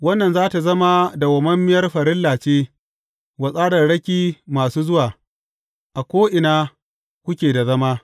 Wannan za tă zama dawwammamiyar farilla ce, wa tsararraki masu zuwa, a ko’ina kuke da zama.